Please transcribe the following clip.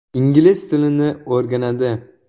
Ingliz tilini o‘rganadi.